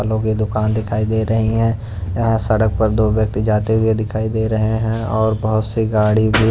फलों की दुकान दिखाई दे रही है यहां सड़क पर दो व्यक्ति जाते हुए दिखाई दे रहे हैं और बहुत सी गाड़ी--